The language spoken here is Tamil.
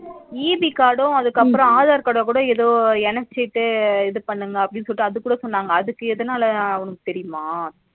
EB card ம் அதுகப்பறம் aadhar card கூட ஏதோ எனசிட்டு இதுபனுங்க அப்டினு சொல்லிட்டு அதுகூட சொன்னாங்க அதுக்கு எதனால உனக்கு தெரியுமா